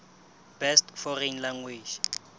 best foreign language